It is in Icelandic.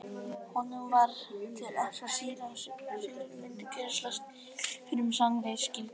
Honum var til efs að síra Sigurður myndi grennslast fyrir um sannleiksgildi þessa.